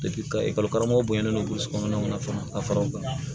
ka ekɔli karamɔgɔ bonyalen don boli kɔnɔna na fana ka fara o kan